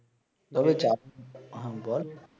ধরু চাপ হ্যাঁ বল